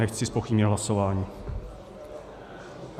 Nechci zpochybnit hlasování.